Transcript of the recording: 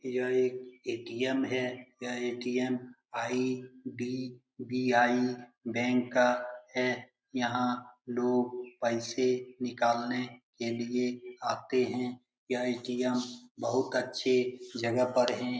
यह एक ए.टी.एम. है यह ए.टी.एम. आई.डी.बी.आई. बेंक का है यहाँ लोग पैसे निकालने के लिए आते हैं यह ए.टी.एम. बहुत अच्छी जगह पर है ।